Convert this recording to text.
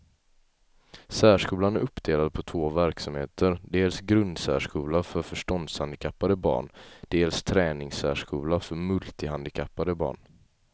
Särskolan är uppdelad på två verksamheter, dels grundsärskola för förståndshandikappade barn, dels träningssärskola för multihandikappade barn.